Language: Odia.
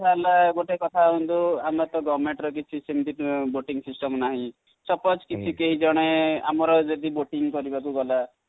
ଗୋଟେ କଥା ହେଲା ଦେଖନ୍ତୁ ଆମର ତ Government ର ତ କିଛି ସେମିତି boating system ନାହିଁ suppose କିଛି କେହି ଜଣେ ଆମର ଯଦି boating କରିବାକୁ ଗଲା,